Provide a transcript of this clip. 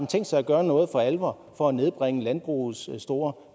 tænkt sig at gøre noget for alvor for at nedbringe landbrugets store